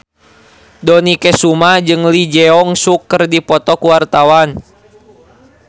Dony Kesuma jeung Lee Jeong Suk keur dipoto ku wartawan